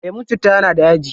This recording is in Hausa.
Lemun citta yana da yaji.